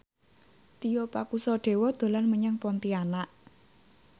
Tio Pakusadewo dolan menyang Pontianak